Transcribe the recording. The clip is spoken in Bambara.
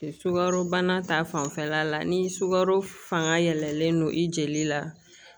Sukaro bana ta fanfɛla la ni sukaro fanga yɛlɛlen don i jeli la